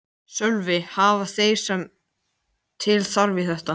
Við fengum þarna leigt á viðráðanlegu verði.